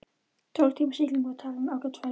Tólf tíma sigling var talin ágæt ferð.